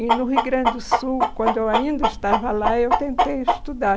E no Rio Grande do Sul, quando eu ainda estava lá, eu tentei estudar.